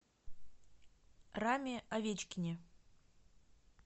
раме овечкине